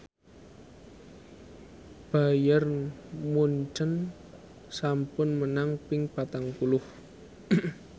Bayern Munchen sampun menang ping patang puluh